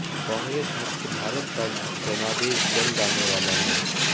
कांग्रेस मुक्त भारत का जनादेश जल्द आने वाला है